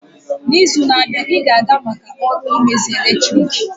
N'izu na-abịa, ị ga-aga maka ọrụ mmezi eletrik?